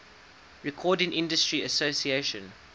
recording industry association